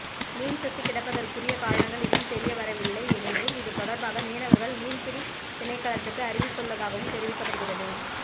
மீன் செத்து கிடப்பதற்குறிய காரணங்கள் இன்னும் தெரியவரவில்லை என்றும் இதுதொடர்பாக மீனவர்கள் மீன்பிடி திணைக்களத்துக்கு அறிவித்துள்ளதாகவும் தெரிவிக்கப்படுகின்றது